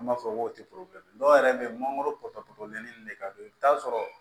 An b'a fɔ ko dɔw yɛrɛ bɛ yen mangoro porobilɛmu ni ne ka don i bɛ taa sɔrɔ